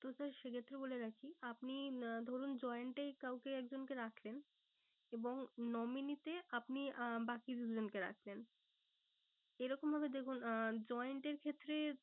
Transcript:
তো sir সে ক্ষেত্রে বলে রাখি আপনি আহ ধরুন joined এ কাউকে এক জনকে রাখেন। এবং nominee তে আপনি আহ বাকি দুজনকে রাখলেন। এইরকম ভাবে দেখুন joined এর ক্ষেত্রে